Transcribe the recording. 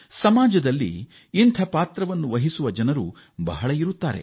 ಸಮಾಜದಲ್ಲಿ ಇಂಥ ಪಾತ್ರ ವಹಿಸುವ ಜನರು ತುಂಬಾ ಇದ್ದಾರೆ